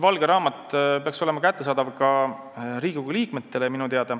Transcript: Valge raamat peaks olema minu teada kättesaadav ka Riigikogu liikmetele.